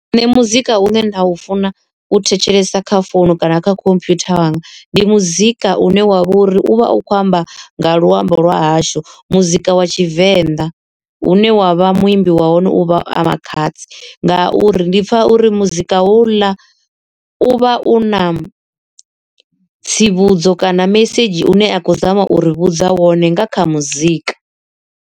Nṋe muzika une nda u funa u thetshelesa kha founu kana kha computer yanga ndi muzika une wavha uri u vha u khou amba nga luambo lwa hashu muzika wa tshivenḓa. Hune wavha muimbi wa hone u vha a Makhadzi ngauri ndi pfha uri muzika ho uḽa u vha u na tsivhudzo kana mesedzhi une a khou zama u ri vhudza wone nga kha muzika.